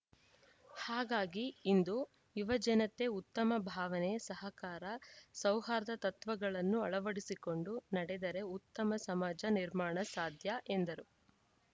ಹಾಗಾಗಿ ಇಂದು ಯುವಜನತೆ ಉತ್ತಮ ಭಾವನೆ ಸಹಕಾರ ಸೌಹಾರ್ದ ತತ್ವಗಳನ್ನು ಅಳವಡಿಸಿಕೊಂಡು ನಡೆದರೆ ಉತ್ತಮ ಸಮಾಜ ನಿರ್ಮಾಣ ಸಾಧ್ಯ ಎಂದರು